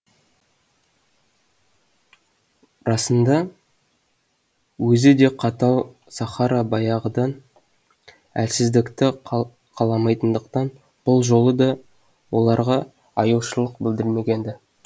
расында өзі де қатал сахара баяғыдан әлсіздікті қаламайтындықтан бұл жолы да оларға аяушылық білдірмеген ді